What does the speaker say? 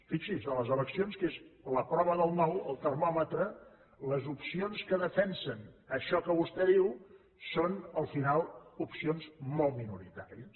fixi’s a les eleccions que és la prova del nou el termòmetre les opcions que defensen això que vostè diu són al final opcions molt minoritàries